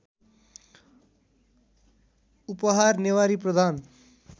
उपहार नेवारी प्रधान